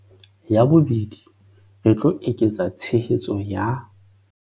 Ya bobedi, re tlo eketsa tshehetso ya